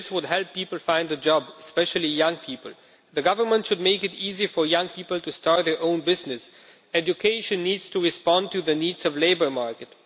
this would help people find a job, especially young people. The government should make it easy for young people to start their own business. Education needs to respond to the needs of the labour market